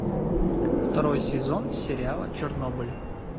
второй сезон сериала чернобыль